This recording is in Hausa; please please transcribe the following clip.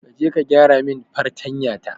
Kaje ka gyaramin fartanya ta.